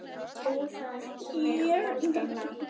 Úðað í mig moldinni.